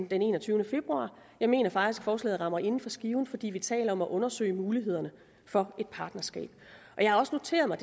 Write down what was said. den enogtyvende februar jeg mener faktisk at forslaget rammer inden for skiven fordi vi taler om at undersøge mulighederne for partnerskab jeg har også noteret mig